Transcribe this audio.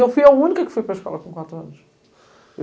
Eu fui a única que fui para a escola com quatro anos.